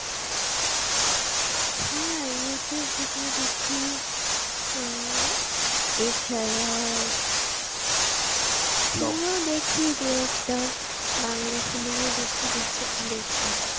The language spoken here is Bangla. হ্যাঁ youtube video দেখি আহ এ ছাড়া cinema দেখি দু একটা। বাংলা cinema বেশি দেখ~দেখি।